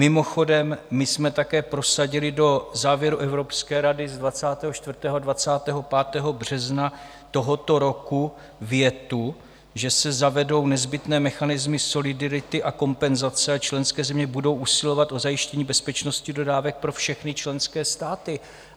Mimochodem my jsme také prosadili do závěru Evropské rady z 24. a 25. března tohoto roku větu, že se zavedou nezbytné mechanismy solidarity a kompenzace a členské země budou usilovat o zajištění bezpečnosti dodávek pro všechny členské státy.